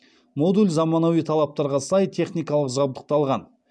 модуль заманауи талаптарға сай техникалық жабдықталған